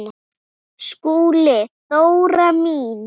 SKÚLI: Dóra mín!